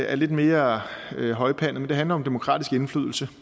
er lidt mere højpandet men det handler om demokratisk indflydelse